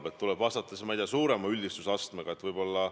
Kas tuleb siis vastata, ma ei tea, suurema üldistusastmega?